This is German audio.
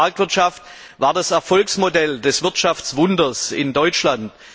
Soziale Marktwirtschaft war das Erfolgsmodell des Wirtschaftswunders in Deutschland.